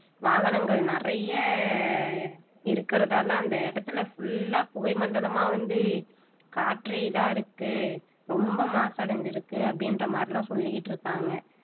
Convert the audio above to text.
வாகனங்கள் நிறைய இருக்கிறதால அந்த இடத்துல full ஆ புகை மண்டலமா வந்து காற்றே இதா இருக்கு ரொம்ப மாசடைஞ்சிருக்கு அப்படின்ற மாதிரி எல்லாம் சொல்லிட்டிருக்காங்க